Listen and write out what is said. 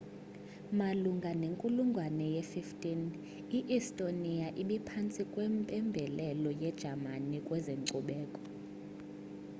malunga nenkulungwane ye-15 i-estonia ibiphantsi kwempembelelo yejamani kwezenkcubeko